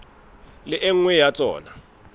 le e nngwe ya tsona